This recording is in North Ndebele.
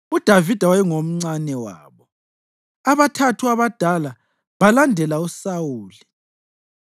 UDavida wayengomncane wabo. Abathathu abadala balandela uSawuli,